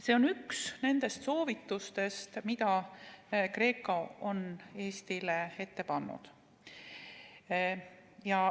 See on üks nendest soovitustest, mida GRECO on Eestile andnud.